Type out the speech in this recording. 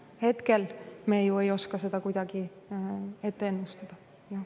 Hetkel me ju ei oska seda kuidagi ette ennustada.